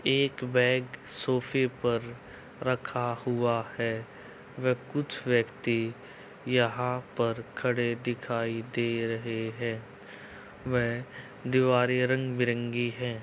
एक बैग सोफे पर रखा हुआ है व कुछ व्यक्ति यहाँ पर खड़े दिखायी दे रहे हैं व दीवारें रंग-बिरंगी हैं।